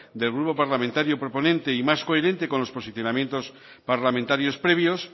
del grupo parlamentario proponente y más coherente con los posicionamientos parlamentarios previos